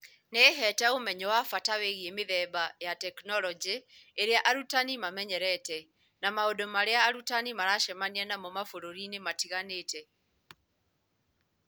Nĩ ĩheete ũmenyo wa bata wĩgiĩ mĩthemba ya tekinoronjĩ ĩrĩa arutani mamenyerete, na maũndũ marĩa arutani maracemania namo mabũrũri-inĩ matiganĩte.